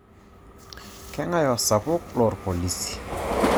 Keng'ae osapuk loorpolisi.